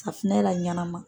Safinɛ la ɲanama,